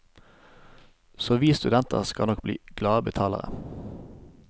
Så vi studenter skal nok bli glade betalere.